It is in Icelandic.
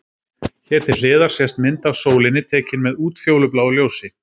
Hér til hliðar sést mynd af sólinni, tekin með útfjólubláu ljósi.